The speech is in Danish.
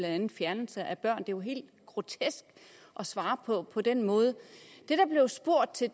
andet fjernelse af børn er jo helt grotesk at svare på på den måde det der blev spurgt til